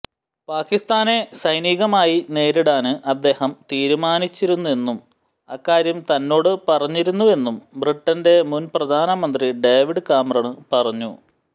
പാകിസ്താനെ സൈനികമായി നേരിടാന് അദ്ദേഹം തീരുമാനിച്ചിരുന്നുവെന്നും അക്കാര്യം തന്നോട് പറഞ്ഞിരുന്നുവെന്നും ബ്രിട്ടന്റെ മുന് പ്രധാനമന്ത്രി ഡേവിഡ് കാമറണ് പറഞ്ഞു